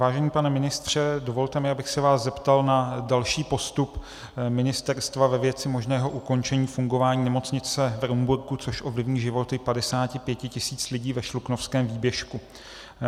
Vážený pane ministře, dovolte mi, abych se vás zeptal na další postup ministerstva ve věci možného ukončení fungování nemocnice v Rumburku, což ovlivní životy 55 tisíc lidí ve Šluknovském výběžku.